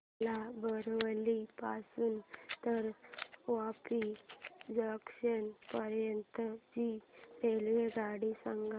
मला बोरिवली पासून तर वापी जंक्शन पर्यंत ची रेल्वेगाडी सांगा